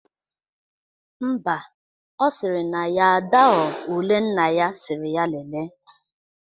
Mba, ọ sịrị na ya adaghọ ule nna ya sịrị ya lele